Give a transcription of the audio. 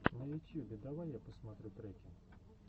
на ютьюбе давай я посмотрю треки